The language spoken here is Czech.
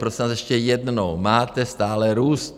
Prosím vás, ještě jednou: máte stále růst.